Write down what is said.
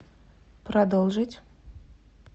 продолжить